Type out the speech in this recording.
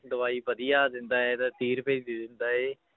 ਦਵਾਈ ਵਧੀਆ ਦਿੰਦਾ ਹੈ ਤੇ ਤੀਹ ਰੁਪਏ ਦੀ ਦੇ ਦਿੰਦਾ ਹੈ